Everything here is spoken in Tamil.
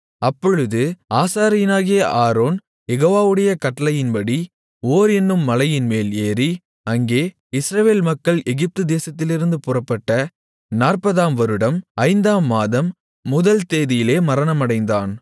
அப்பொழுது ஆசாரியனாகிய ஆரோன் யெகோவாவுடைய கட்டளையின்படி ஓர் என்னும் மலையின்மேல் ஏறி அங்கே இஸ்ரவேல் மக்கள் எகிப்து தேசத்திலிருந்து புறப்பட்ட 40 ஆம் வருடம் ஐந்தாம் மாதம் முதல் தேதியிலே மரணமடைந்தான்